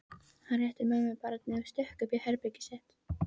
Hann rétti mömmu barnið og stökk upp í herbergið sitt.